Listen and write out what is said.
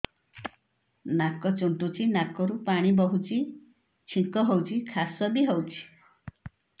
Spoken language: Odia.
ନାକ ଚୁଣ୍ଟୁଚି ନାକରୁ ପାଣି ବହୁଛି ଛିଙ୍କ ହଉଚି ଖାସ ବି ହଉଚି